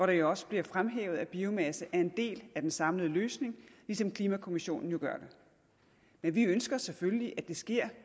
det jo også bliver fremhævet at biomasse er en del af den samlede løsning ligesom klimakommissionen gør det men vi ønsker selvfølgelig at det sker